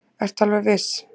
Ertu alveg viss?